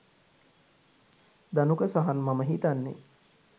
ධනුක සහන් මම හිතන්නේ